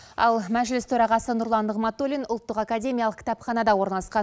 ал мәжіліс төрағасы нұрлан нығматуллин ұлттық академиялық кітапханада орналасқан